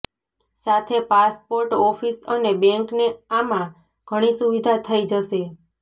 સાથે passport office અને બેન્કને આમાં ઘણી સુવિધા થઈ જશે